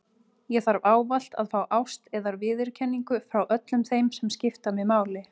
Ég þarf ávallt að fá ást eða viðurkenningu frá öllum þeim sem skipta mig máli.